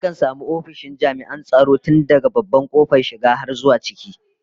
Akan samu ofishin jami'an tsaro tun daga babban kofar shiga har zuwa ciki